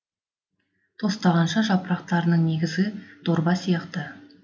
тостағанша жапырақтарының негізі дорба сияқты